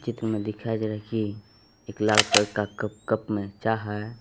इसमें दिखाई दे रहा है कि एक लाल कलर का कप कप में चाह है।